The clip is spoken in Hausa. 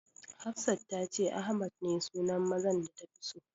Hafsat ta ce Ahmad ne sunan mazan da tafi so.